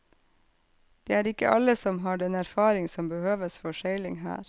Det er ikke alle som har den erfaring som behøves for seiling her.